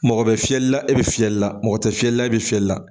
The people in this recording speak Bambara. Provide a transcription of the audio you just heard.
Mɔgɔ bɛ fiyɛli la e bɛ fiyɛli la mɔgɔ tɛ fiyɛli la e bɛ fiyɛli la